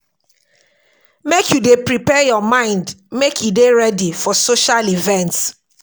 Make you dey prepare your mind make e dey ready for social events.